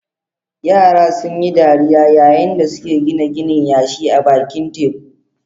Yara sun yi dariya yayin da suke gina ginin yashi a bakin teku.